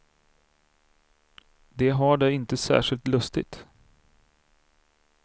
De har det inte särskilt lustigt.